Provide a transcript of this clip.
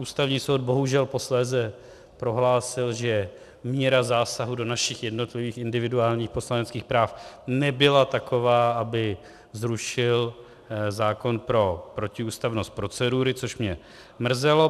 Ústavní soud bohužel posléze prohlásil, že míra zásahu do našich jednotlivých individuálních poslaneckých práv nebyla taková, aby zrušil zákon pro protiústavnost procedury, což mě mrzelo.